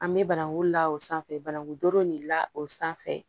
An bɛ bananku la o sanfɛ bananku doro de la o sanfɛ